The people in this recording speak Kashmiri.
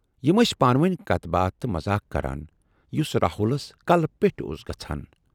یِم ٲسۍ پانہٕ وٲنۍ کتھ باتھ تہٕ مذاق کران، یُس راہُلس کلہٕ پٮ۪ٹھۍ اوس گژھان۔